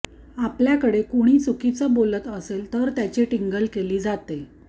आपल्याकडे कुणी चुकीचं बोलत असेल तर त्याची टिंगल केली जाते